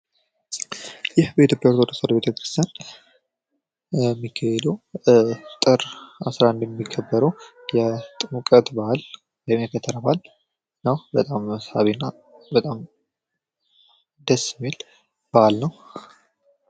ይህ በኢትዮጵያ ኦርቶዶክስ ተዋህዶ ቤተ-ክርስቲያን የሚከበረው ጥር 11 የሚከበረው የጥምቀት በዓል የከተራ በአል ነው። በጣም ሳቢ እና በጣም ደስ የሚል በዓል ነው።